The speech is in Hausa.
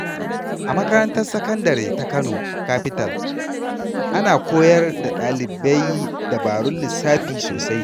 A makarantar sakandare ta Kano Capital, ana koyar da ɗalibai dabarun lissafi sosai.